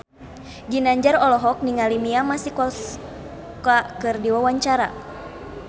Ginanjar olohok ningali Mia Masikowska keur diwawancara